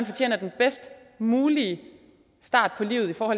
fortjener den bedst mulige start på livet for at